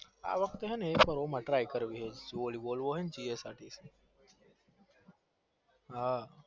આ વખતે કરવી traybollywood gsrtc